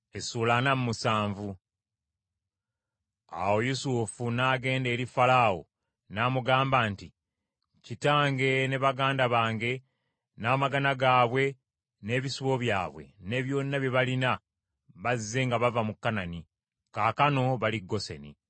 Awo Yusufu n’agenda eri Falaawo n’amugamba nti, “Kitange ne baganda bange n’amagana gaabwe n’ebisibo byabwe ne byonna bye balina bazze nga bava mu Kanani; kaakano bali Goseni.”